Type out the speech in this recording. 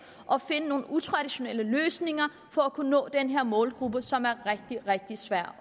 at finde nogle utraditionelle løsninger for at kunne nå den her målgruppe som er rigtig rigtig svær